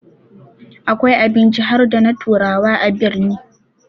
Akwai abinci harda na turawa a birni